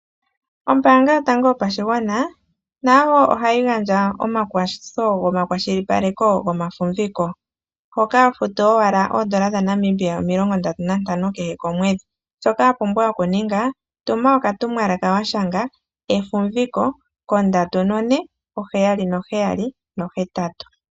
Ombaanga yotango yopashigwana, nayo oha yi gandja omakwathitho gomakwashilipaleko gomafumbiko. Hoka hofutu owala oondola dhaNamibia omilongo ndatu nantano kehe omweedhi. Shoka wa pumbwa oku ninga, tuma oka tumwalaka wa shanga “Efumviko” ko 34778.